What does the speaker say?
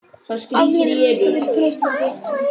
Atvinnumennskan er freistandi